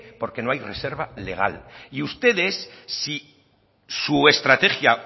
porque no hay reserva legal y ustedes si su estrategia